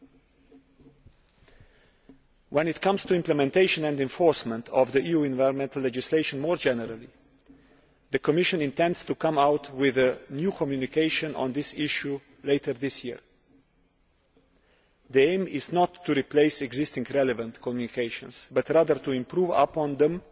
As regards the implementation and enforcement of the EU's environmental legislation more generally, the Commission intends to come out with a new communication on this issue later this year. The aim is not to replace existing relevant communications but rather to improve upon them